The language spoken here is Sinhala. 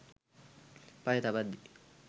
පය තබද්දි